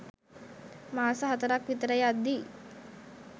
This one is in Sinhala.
මාස හතරක් විතර යද්දී